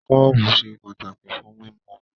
Kọ́ọ́bú se pàtàkì fún mímú omi.